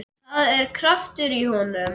Það er kraftur í honum.